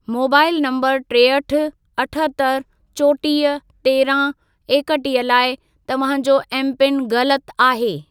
Mobile number टेहठि, अठहतरि, चोटीह, तेरहं, एकटीह लाइ तव्हां जो एमपिन ग़लत आहे।